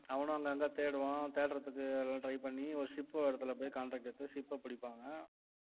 அவனும் அங்கங்க தேடுவான் தேடுறதுக்கு எல்லாம் try பண்ணி ஒரு ship ஒரு இடத்துல போயி contract எடுத்து ship அ புடிப்பாங்க